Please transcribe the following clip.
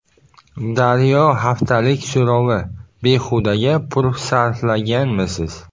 Daryo haftalik so‘rovi: Behudaga pul sarflaganmisiz?.